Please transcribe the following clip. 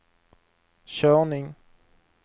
körning